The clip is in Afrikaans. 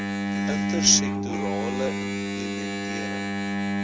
inter sektorale implementering